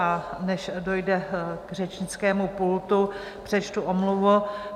A než dojde k řečnickému pultu, přečtu omluvu.